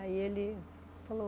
Aí ele falou...